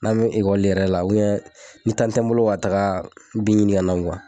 N'an bɛ yɛrɛ la ni tɛ n bolo ka taga bin ɲini ŋana